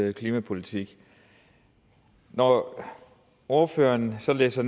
en klimapolitik når ordføreren så læser